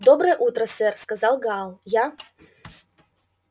доброе утро сэр сказал гаал я